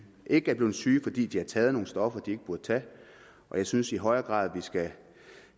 ikke er blevet syge fordi de har taget nogle stoffer de ikke burde tage jeg synes i højere grad